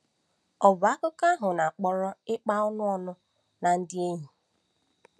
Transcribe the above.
Ọ̀ bụ akụkọ ahụ na-akpọrọ ịkpa ọṅụ ọnụ na ndị enyi?